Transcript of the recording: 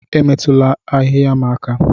Emetụla ahịhịa m aka